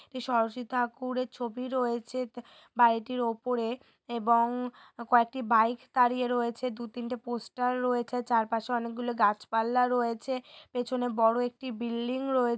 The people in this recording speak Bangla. ষোড়শী থাকুরের ছবি রয়েছে তে বাড়িটির ওপরে-এ এবং কয়েকটি বাইক দাঁড়িয়ে রয়েছে দুতিনতে পোস্টার চারপাশে অনেকগুলো গাছপাল্লা রয়েছে পেছনে বড় একটি বিল্ডিং রয়ে --